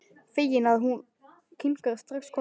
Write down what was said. Feginn að hún kinkar strax kolli.